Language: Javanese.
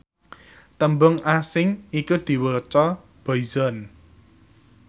tembung asing iku diwaca boyzone